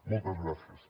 moltes gràcies